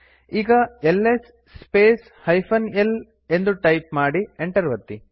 ಈಗ LS space l ಎಂದು type ಮಾಡಿ ಎಂಟರ್ ಒತ್ತಿ